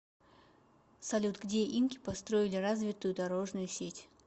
салют где инки построили развитую дорожную сеть